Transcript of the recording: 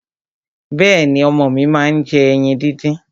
Bẹ́ẹ̀ni, ọmọ mi máa ń jẹ ẹyin díndín.